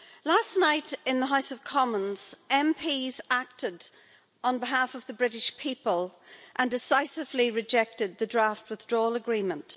Last night in the House of Commons, MPs acted on behalf of the British people and decisively rejected the draft withdrawal agreement.